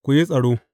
Ku yi tsaro!